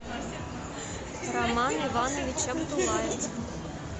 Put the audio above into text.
роман иванович абдуллаев